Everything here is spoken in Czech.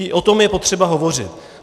I o tom je potřeba hovořit.